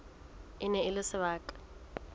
e ne e le sebaka